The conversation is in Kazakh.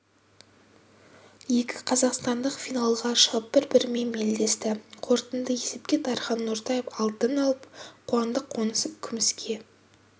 екі қазақстандық финалға шығып бір-бірімен белдесті қорытынды есепте дархан нортаев алтын алып қуандық қонысов күміске